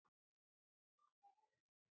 Gísli: Koma fleiri gjafir?